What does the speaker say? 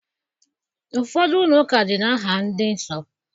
Ụfọdụ ụlọụka dị n'aha ndị Nsọ